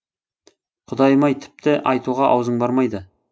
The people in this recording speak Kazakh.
құдайым ай тіпті айтуға аузың бармайды